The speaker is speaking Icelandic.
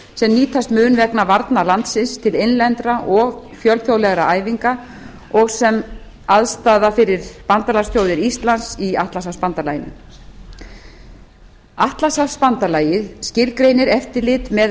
sem nýtast mun vegna varna landsins til innlendra og fjölþjóðlegra æfinga og sem aðstaða fyrir bandalagsþjóðir íslands í atlantshafsbandalaginu atlantshafsbandalagið skilgreinir eftirlit með